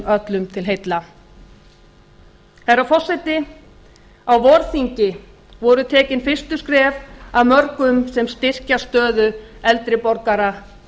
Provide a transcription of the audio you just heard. öllum til heilla herra forseti á vorþingi voru tekin fyrstu skref af mörgum sem styrkja stöðu eldri borgara